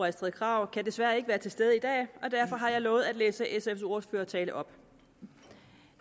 astrid krag kan desværre ikke være til stede i dag og derfor har jeg lovet at læse sfs ordførertale op